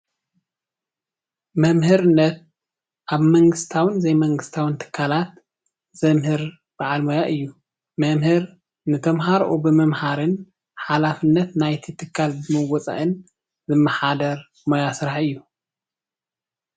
መምህርነት ኣብ መንግስታዊን ዘይመንግስታውን ትካላት ዘምህር በዓል ሞያ እዪ ። መምህር ንተምሃሮኡ ብምምሃርን ሓላፍነት ናይቲ ትካል ብምዉፃእን ዝመሓደር ሞያ ስራሕ እዪ ።